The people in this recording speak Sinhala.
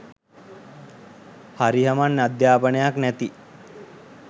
හරි හමන් අධ්‍යාපනයක් නැති